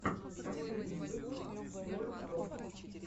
последний выпуск боррдо